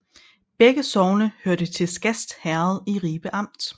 Begge sogne hørte til Skast Herred i Ribe Amt